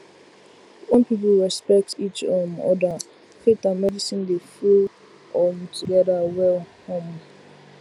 when people respect each um other faith and medicine dey flow um together well um